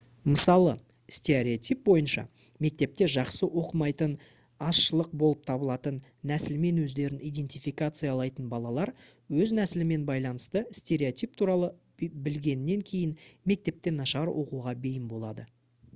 мысалы стереотип бойынша мектепте жақсы оқымайтын азшылық болып табылатын нәсілмен өздерін идентификациялайтын балалар өз нәсілімен байланысты стереотип туралы білгеннен кейін мектепте нашар оқуға бейім болады